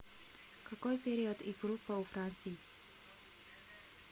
какой период и группа у франций